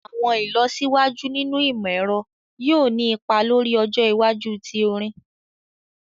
Awọn ilọsiwaju ninu imọ-ẹrọ yoo ni ipa lori ọjọ iwaju ti orin